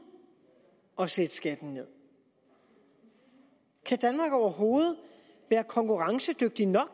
at sætte skatten ned kan danmark overhovedet være konkurrencedygtigt nok